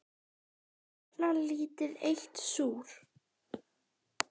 Gjarnan lítið eitt súr.